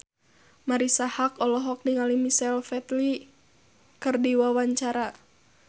Marisa Haque olohok ningali Michael Flatley keur diwawancara